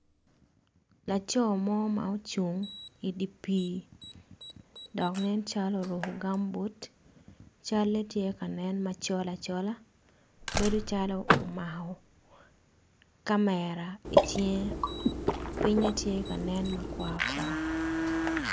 Laco mo ma ocung idi pi dok nen calo oruko gambut cale tye ka nen macol acola bedo calo omako kamera icinge pinge tye ka nen makwar kwar.